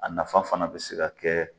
A nafa fana be se ka kɛ